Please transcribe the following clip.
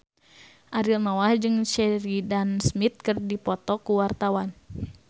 Ariel Noah jeung Sheridan Smith keur dipoto ku wartawan